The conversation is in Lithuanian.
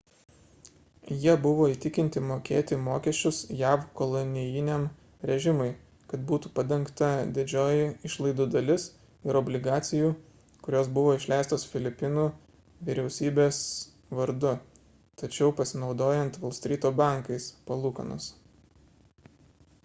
jie buvo įtikinti mokėti mokesčius jav kolonijiniam režimui kad būtų padengta didžioji išlaidų dalis ir obligacijų kurios buvo išleistos filipinų vyriausybės vardu tačiau pasinaudojant volstryto bankais palūkanos